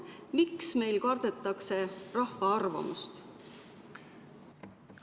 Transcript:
Miks meil kardetakse rahva arvamust?